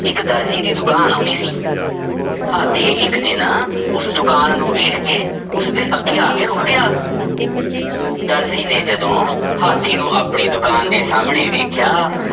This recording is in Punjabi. ਇੱਕ ਦਰਜੀ ਦੀ ਦੁਕਾਨ ਆਉਂਦੀ ਸੀ ਹਾਥੀ ਇੱਕ ਦਿਨ ਉਸ ਦੁਕਾਨ ਨੂੰ ਵੇਖ ਕੇ ਉਸਦੇ ਅੱਗੇ ਆ ਕੇ ਰੁੱਕ ਗਿਆ ਦਰਜੀ ਨੇ ਜਦੋਂ ਹਾਥੀ ਨੂੰ ਆਪਣੀ ਦੁਕਾਨ ਦੇ ਸਾਹਮਣੇ ਵੇਖਿਆ